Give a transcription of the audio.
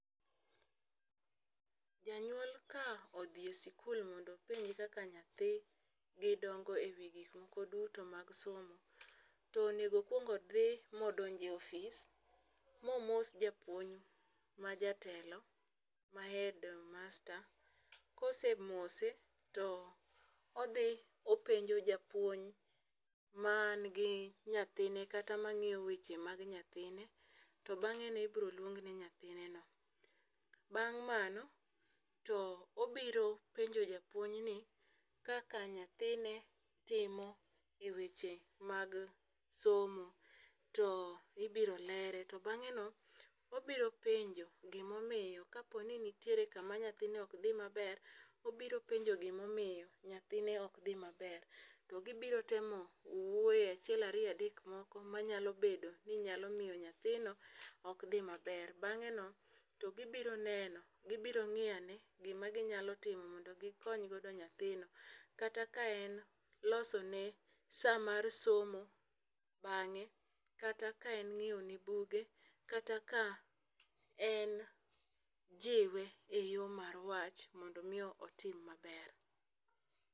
Janyuol ka odhi e sikul mondo openji kaka nyathigi dongo e wi gik moko duto mag somo, to onego o kwong odhi ma odonj e office, ma omos japuonj ma jatelo, ma head master. Kosemose to odhi openjo japuonj man gi nyathine kata mangíyo weche mag nyathine, to bangé no ibiro luong ne yathineno. Bang' mano to obiro penjo japuonj ni, kaka nyathine timo e weche mag somo, to ibiro lere. To bangé no obiro penjo, gima omiyo, ka po ni nitiere kama nyathine ok dhi maber, obiro penjo gima omiyo nyathine ok dhi maber. To gibiro temo wuoye achiel, ariyo, adek moko ma nyalo bedo ni nyalo miyo nyathino ok dhi maber. Bangé no, to gibiro neno, gibiro ngíyo ane gima ginyalo timo mondo gikony godo nyathino. Kata ka en loso ne sa mar somo bangé, kata ka en nyiewo ne buge, kata ka en jiwe e yo mar wach mondo omi otim maber.